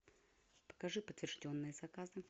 покажи подтвержденные заказы